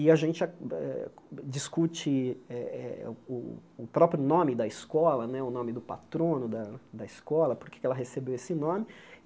E a gente ah ah discute eh eh o o próprio nome da escola né, o nome do patrono da da escola, porque ela recebeu esse nome.